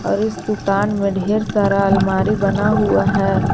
और इस दुकान में ढेर सारा अलमारी बना हुआ है।